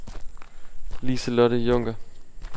Lise-Lotte Junker